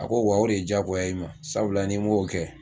A ko wa o de ye diyagoya ye i ma sabula ni m'o kɛ